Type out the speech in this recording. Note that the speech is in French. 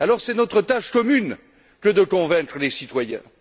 Alors c'est notre tâche commune que de convaincre les citoyens.